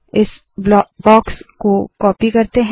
इस बॉक्स को कॉपी करते है